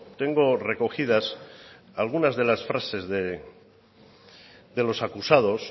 tengo recogidas algunas de las frases de los acusados